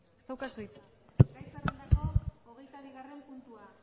ez daukazu hitza gai zerrendako hogeita bigarren puntua